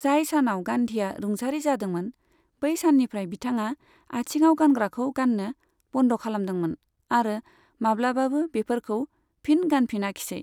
जाय सानाव गान्धीया रुंसारि जादोंमोन बै सान्निफ्राय बिथाङा आथिङाव गानग्राखौ गान्नो बन्द खालामदोंमोन आरो माब्लाबाबो बेफोरखौ फिन गानफिनाखिसै।